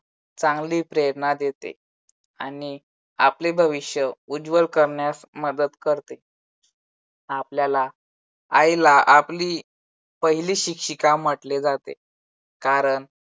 चांगली प्रेरणा देते आणि आपले भविष्य उज्वल करण्यास मदत करते. आपल्याला आईला आपली पहिली शिक्षिका म्हटले जाते कारण